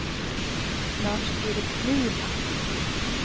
Lars-Erik Nyman